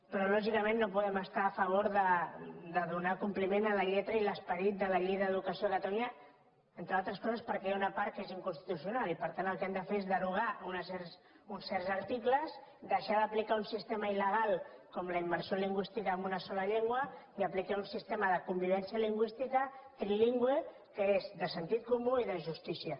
però lògicament no podem estar a favor de donar compliment a la lletra i l’esperit de la llei d’educació de catalunya entre altres coses perquè hi ha una part que és inconstitucional i per tant el que hem de fer és derogar uns certs articles deixar d’aplicar un sistema illlengua i aplicar un sistema de convivència lingüística trilingüe que és de sentit comú i de justícia